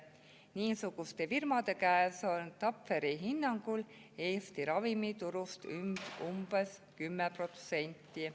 Niisuguste firmade käes on Tapferi hinnangul Eesti ravimiturust umbes 10%.